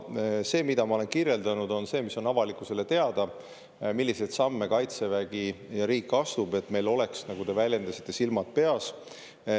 Aga see, mida ma olen kirjeldanud, on see, mis on avalikkusele teada: milliseid samme Kaitsevägi ja riik astub, et meil oleks, nagu te väljendasite, silmad peas.